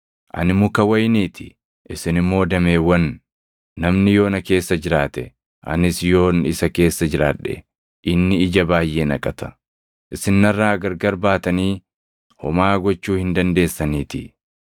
“Ani muka wayinii ti; isini immoo dameewwan. Namni yoo na keessa jiraate, anis yoon isa keessa jiraadhe inni ija baayʼee naqata; isin narraa gargar baatanii homaa gochuu hin dandeessaniitii.